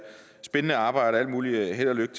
spændende arbejde og alt muligt held og lykke